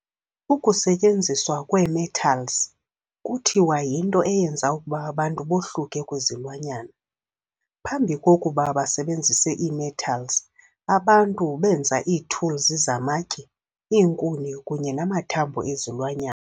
Ukusetyenziswa kwee-metals kuthiwa yinto eyenza ukuba abantu bohluke kwizilwanyana. phambi kokuba basebenzise ii-metals, abantu benza ii-tools zamatye, iinkuni, akunye namathambo ezilwanyana.